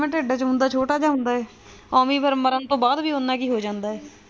ਜਿਵੇਂ ਟਿੱਡ ਦੇ ਵਿੱਚ ਹੁੰਦਾ ਹੈ ਛੋਟਾ ਜਿਹਾ ਹੁੰਦਾ ਹੈ ਐਵੇਂ ਹੀ ਫੇਰ ਮਰਨ ਤੋ ਬਾਅਦ ਉਹਨਾਂ ਜਿਹਾ ਹੀ ਹੋ ਜਾਂਦਾ ਹੈ